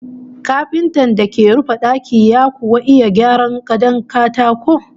Kafintan da ke rufe daki ya kuwa iya gyara gadon katako?